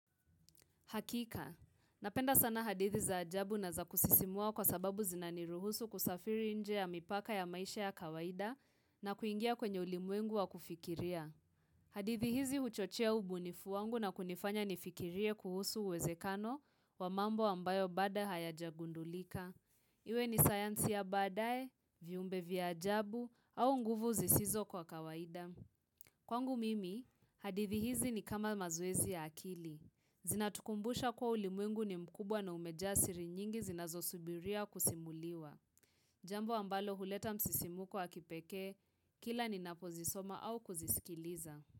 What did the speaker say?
Hakika, napenda sana hadithi za ajabu na za kusisimua kwa sababu zina niruhusu kusafiri nje ya mipaka ya maisha ya kawaida na kuingia kwenye ulimwengu wa kufikiria. Hadithi hizi huchochea ubunifu wangu na kunifanya nifikirie kuhusu uwezekano wa mambo ambayo bado hayajagundulika. Iwe ni sayansi ya baadae, viumbe vya ajabu au nguvu zisizo kwa kawaida. Kwangu mimi, hadithi hizi ni kama mazoezi ya akili. Zinatukumbusha kua ulimwengu ni mkubwa na umejaa siri nyingi zinazosubiria kusimuliwa. Jambo ambalo huleta msisimuko wa kipeke, kila ni napozisoma au kuzisikiliza.